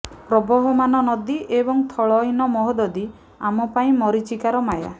ପ୍ରବହମାନ ନଦୀ ଏବଂ ଥଳହୀନ ମହୋଦଧି ଆମ ପାଇଁ ମରୀଚିକାର ମାୟା